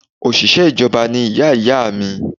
Òṣìṣẹ́ ìjọba ni iyá iyá à mi